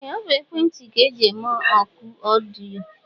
Ee ọ bụ ekwentị ka eji eme ọkụ ọdịyo.